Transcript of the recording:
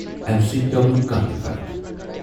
امہِ سۭتۍ پیوٚو نہٕ کانٛہہ تہِ فَرق۔